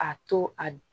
A to a d